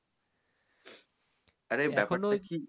আরে